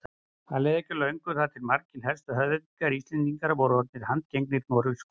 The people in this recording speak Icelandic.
Því leið ekki á löngu þar til margir helstu höfðingjar Íslendinga voru orðnir handgengnir Noregskonungi.